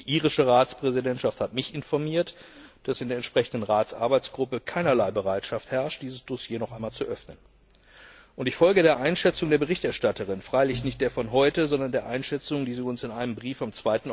Die irische Ratspräsidentschaft hat mich informiert, dass in der entsprechenden Ratsarbeitsgruppe keinerlei Bereitschaft herrscht, dieses Dossier noch einmal zu öffnen. Ich folge der Einschätzung der Berichterstatterin, freilich nicht der von heute, sondern der Einschätzung, die sie uns in einem Brief vom